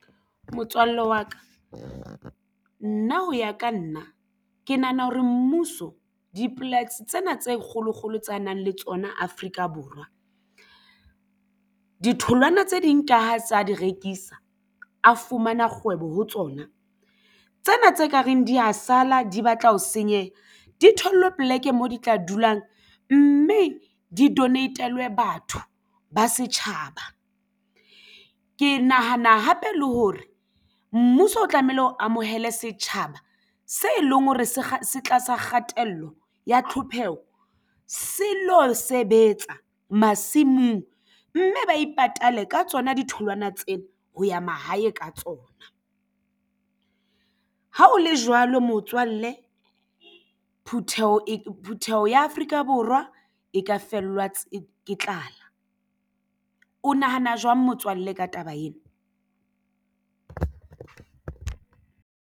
Motswalle wa ka nna ho ya ka nna ke nahana hore mmuso dipolasi tsena tse kgolokgolo tsa nang le tsona Afrika Borwa ditholwana tse ding ka ho tsa di rekisa a fumana kgwebo ho tsona tsena tse ka reng di ya sala di batla ho senyeha di thollwe poleke moo di tla dulang mme di donate-lwe batho ba setjhaba. Ke nahana hape le hore mmuso o tlamehile o amohele setjhaba se leng hore se se tlasa kgatello ya tlhokeho se lo sebetsa masimong, mme ba ipatale ka tsona ditholwana tsena ho ya mahae ka tsona. Ha o le jwalo motswalle phuteho ya Afrika Borwa e ka fellwa ke tlala. O nahana jwang motswalle ka taba ena?